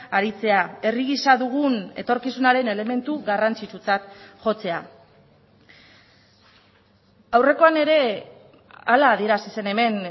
aritzea herri gisa dugun etorkizunaren elementu garrantzitsutzat jotzea aurrekoan ere hala adierazi zen hemen